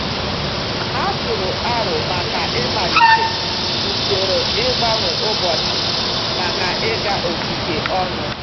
Ha tụrụ aro maka ị malite usoro ịgbanwe ụbọchị maka ịga ogige ọnụ.